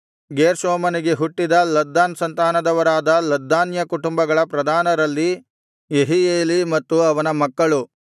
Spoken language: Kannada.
ಗೇರ್ಷೋಮನಿಗೆ ಹುಟ್ಟಿದ ಲದ್ದಾನ ಸಂತಾನದವರಾದ ಲದ್ದಾನ್ಯ ಕುಟುಂಬಗಳ ಪ್ರಧಾನರಲ್ಲಿ ಯೆಹೀಯೇಲೀ ಮತ್ತು ಅವನ ಮಕ್ಕಳು